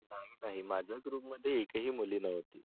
नाही नाही माझ्या group मध्ये एकही मुलगी नव्हती.